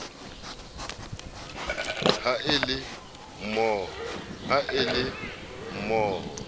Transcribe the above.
ha e le mo ho